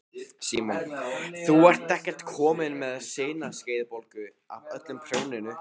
Símon: Þú ert ekkert komin með sinaskeiðabólgu af öllu prjóninu?